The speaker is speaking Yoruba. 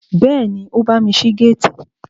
Bẹ́ẹ̀ni, ó bámi ṣí géètì